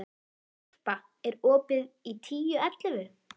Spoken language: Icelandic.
Irpa, er opið í Tíu ellefu?